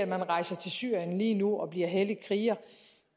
man rejser til syrien lige nu og bliver hellig kriger